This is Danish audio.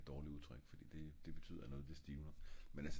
det et dårligt udtryk fordi det betyder noget det stivner men altså